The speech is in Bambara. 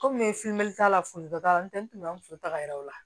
Komi n ye t'a la foli dɔ t'a la n tɛ n to an muso ta yɔrɔ la